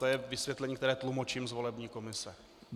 To je vysvětlení, které tlumočím z volební komise.